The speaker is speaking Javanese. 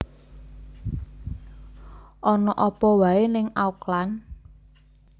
Ono opo wae ning Auckland